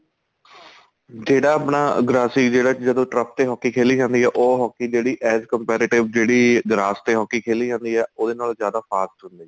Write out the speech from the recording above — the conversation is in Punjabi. ਜਿਹੜਾ ਆਪਣਾ ਗ੍ਰਾਸਿਕ ਜਿਹੜਾ ਜਦੋਂ trump ਤੇ ਹੋ ਕੇ ਖੇਲੀ ਜਾਂਦੀ ਏ ਉਹ hockey ਜਿਹੜੀ as compare ਜਿਹੜੀ grass ਤੇ hockey ਖੇਲੀ ਜਾਂਦੀ ਏ ਉਹਦੇ ਨਾਲੋ ਜਿਆਦਾ fast ਹੁੰਦੀ